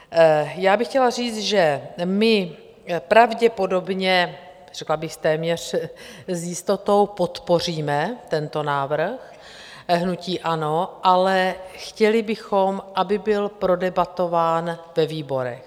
Já bych chtěla říct, že my pravděpodobně, řekla bych téměř s jistotou, podpoříme tento návrh, hnutí ANO, ale chtěli bychom, aby byl prodebatován ve výborech.